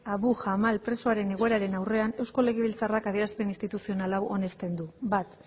abu jamal presoaren egoeraren aurrean eusko legebiltzarrak adierazpen instituzional hau onesten du bat